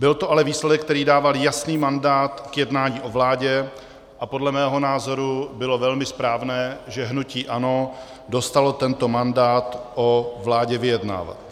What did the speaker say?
Byl to ale výsledek, který dával jasný mandát k jednání o vládě, a podle mého názoru bylo velmi správné, že hnutí ANO dostalo tento mandát o vládě vyjednávat.